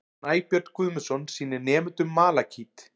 Snæbjörn Guðmundsson sýnir nemendum malakít.